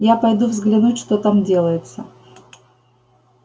я пойду взгляну что там делается